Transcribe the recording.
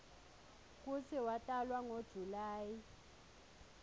kutsi watalwa ngo july